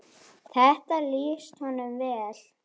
Þetta lýsir honum vel.